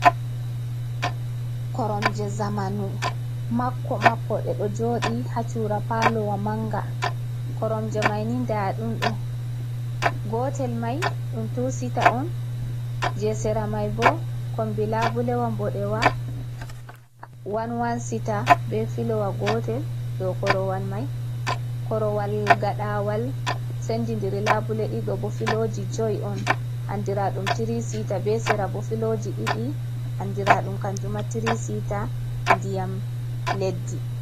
Koromje zamanu makko-makko, ɗe ɗo jooɗi haa cuura paalowa manga. Koromje maini ndaa ɗum ɗo, gotel mai ɗum tuu sita on, je sera mai bo kombi labulewa nboɗewa, wan-wan siita. Be filowa gotel dow korowal mai. Korowal gaɗawal sendi ndiri labule ɗiɗi ɗo bo, filooji joy on andira ɗum tiri sita, be sera bo filoji ɗiɗi andira ɗum kanjuma tiri sita, ndiyam leddi.